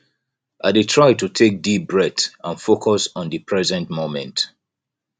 i dey try to take deep breath and focus on di present moment